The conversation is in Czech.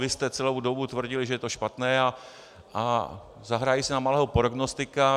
Vy jste celou dobu tvrdili, že je to špatné, a zahraji si na malého prognostika.